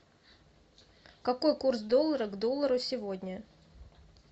какой курс доллара к доллару сегодня